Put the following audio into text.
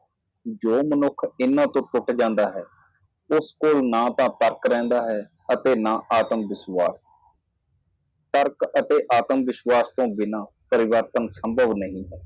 ਉਹ ਆਦਮੀ ਜੋ ਇਹਨਾਂ ਨੂੰ ਤੋੜਦਾ ਹੈ ਉਸ ਕੋਲ ਕੋਈ ਤਰਕ ਨਹੀਂ ਹੈ ਤੇ ਹੋਰ ਭਰੋਸਾ ਨਹੀਂ ਬਿਨਾਂ ਕਾਰਨ ਅਤੇ ਵਿਸ਼ਵਾਸ ਦੇ ਤਬਦੀਲੀ ਸੰਭਵ ਨਹੀਂ ਹੈ